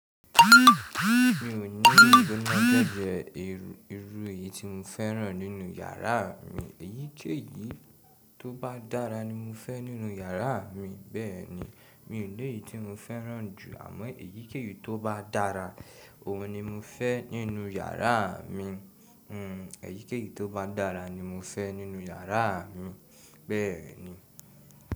Mi ò ní gbogbo irú irú èyí tí mo fẹ́ràn nínú yàrá mi. Èyíkéyìí tó bá dára ni mo fẹ́ nínú yàrá mi, bẹ́ẹ̀ni. Mi ò ní èyii tí mo fẹ́ràn jù, àmọ́ èyíkéyìí tó bá dára, òun ni mo fẹ́ nínú yàrá mi. Hmm, èyíkéyìí tó bá dára ni mo fẹ́ nínú yàrá mi, bẹ́ẹ̀ni.